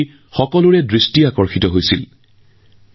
এইবাৰ ১৩ গৰাকী মহিলা খেলুৱৈক অৰ্জুন বঁটাৰে সন্মানিত কৰা হৈছে